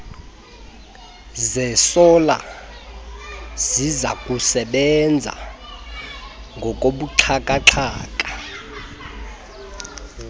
zesola zizakusebenza ngokobuxhakaxhaka